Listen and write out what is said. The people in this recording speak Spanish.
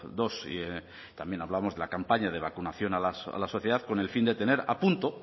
dos y también hablamos de la campaña de vacunación a la sociedad con el fin de tener a punto